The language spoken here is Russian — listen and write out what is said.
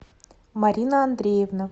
марина андреевна